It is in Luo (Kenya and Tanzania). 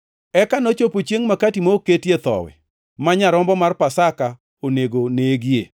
Eka nochopo chiengʼ Makati ma ok oketie Thowi, ma nyarombo mar Pasaka onego negie.